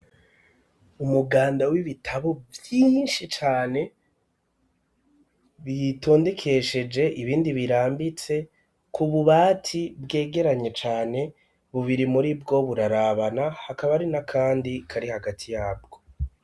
Umuganda w'ibitabo vyinshi cane bitondekesheje ibindi birambitse ku bubati bwegeranye cane bubiri muri bwo burarabana hakaba ari na kandi kari hagati yabwo.